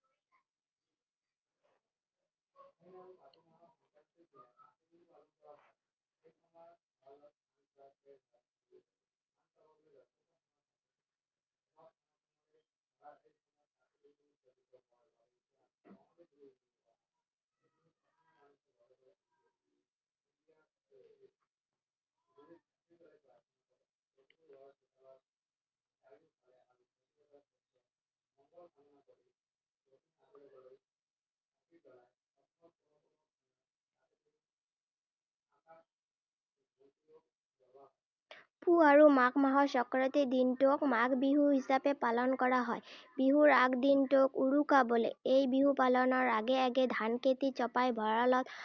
পুহ আৰু মাঘ মাহৰ সংক্ৰান্তিৰ দিনটোক মাঘ বিহু হিচাপে পালন কৰা হয়। বিহুৰ আগ দিনটোক উৰুকা বোলে। এই বিহু পালনৰ আগে আগে ধানখেতি চপাই ভঁৰালত